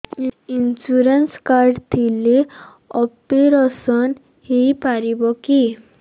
insurance card ଥିଲେ operation ହେଇପାରିବ କି